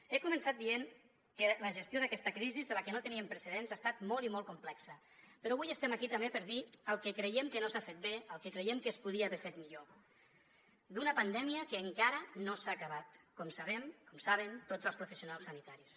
he començat dient que la gestió d’aquesta crisi de la que no teníem precedents ha estat molt i molt complexa però avui estem aquí també per dir el que creiem que no s’ha fet bé el que creiem que es podia haver fet millor d’una pandèmia que encara no s’ha acabat com sabem com saben tots els professionals sanitaris